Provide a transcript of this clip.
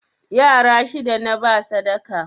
Yara shida naba sadaka